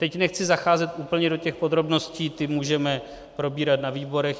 Teď nechci zacházet úplně do těch podrobností, ty můžeme probírat na výborech.